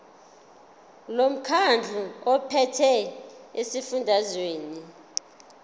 lomkhandlu ophethe esifundazweni